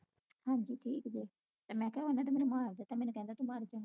ਹਾਂਜੀ ਠੀਕ ਜੇ ਮੈਂ ਕਿਹਾ ਉਹਨੇ ਤੇ ਮੈਨੂੰ ਮਾਰ ਹੀ ਦਿੱਤਾ ਹੀ ਮੈਨੂੰ ਕਹਿਦਾ ਤੂੰ ਮਾਰ ਗਈ